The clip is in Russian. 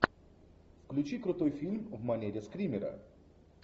включи крутой фильм в манере скримера